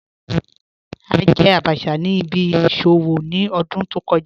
A jẹ̀ àbàchà ni ìbí ìṣòwò ni ọ̀dún tó kọ̀ja